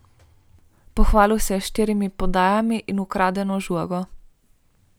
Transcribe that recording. Pohvalil se je še s štirimi podajami in ukradeno žogo.